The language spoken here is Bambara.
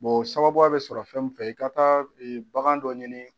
o sababuya bɛ sɔrɔ fɛn min fɛ i ka taa bagan dɔ ɲini